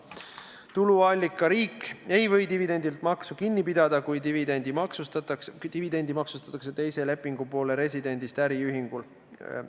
Tuluallikariik ei või dividendilt maksu kinni pidada, kui dividendi maksustatakse teise lepingupoole residendist äriühingul.